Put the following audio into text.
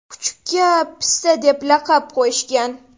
Kuchukka Pista deb laqab qo‘yishgan.